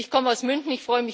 Ich komme aus München.